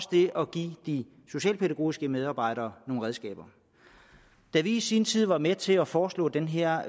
de socialpædagogiske medarbejdere nogle redskaber da vi i sin tid var med til at foreslå den her